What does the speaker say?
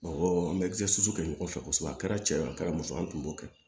Awɔ an bɛ kɛ ɲɔgɔn fɛ kosɛbɛ a kɛra cɛ ye a kɛra muso ye an tun b'o kɛ